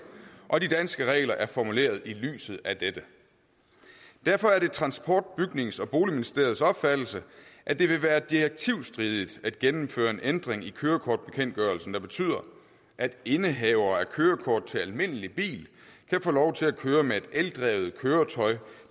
og de danske regler er formuleret i lyset af dette derfor er det transport bygnings og boligministeriets opfattelse at det vil være direktivstridigt at gennemføre en ændring i kørekortbekendtgørelsen der betyder at indehavere af kørekort til almindelig bil kan få lov til at køre med et eldrevet køretøj